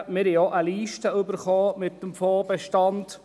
Wir haben auch eine Liste erhalten mit dem Fondsbestand.